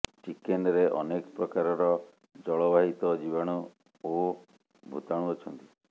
ଚିକେନ୍ରେ ଅନେକ ପ୍ରକାରର ଜଳବାହିତ ଜୀବାଣୁ ଓ ଭୂତାଣୁ ଅଛନ୍ତି